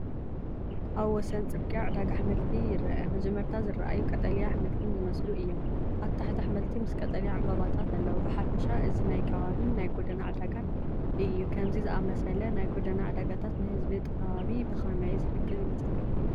ኣብ ወሰን ጽርግያ ዕዳጋ ኣሕምልቲ ይርአ። መጀመርታ ዝረኣዩ ቀጠልያ ኣሕምልትን ዝመስሉ እዮም። ኣብ ታሕቲ ኣሕምልቲ ምስ ቀጠልያ ዕምባባታትን ኣለዉ። ብሓፈሻ እዚ ናይ ከባቢን ናይ ጎደና ዕዳጋን እዩ። ከምዚ ዝኣመሰለ ናይ ጎደና ዕዳጋታት ንህዝቢ እቲ ከባቢ ብኸመይ ዝሕግዝ ይመስል?